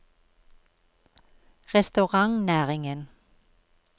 restaurantnæringen